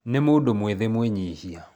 Nĩ mũndũ mwĩthĩ mwĩnyihia